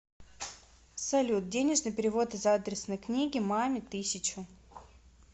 салют денежный перевод из адресной книги маме тысячу